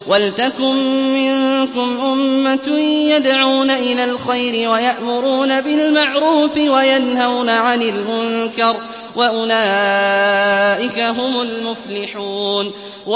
وَلْتَكُن مِّنكُمْ أُمَّةٌ يَدْعُونَ إِلَى الْخَيْرِ وَيَأْمُرُونَ بِالْمَعْرُوفِ وَيَنْهَوْنَ عَنِ الْمُنكَرِ ۚ وَأُولَٰئِكَ هُمُ الْمُفْلِحُونَ